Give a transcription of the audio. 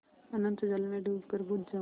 अनंत जल में डूबकर बुझ जाऊँ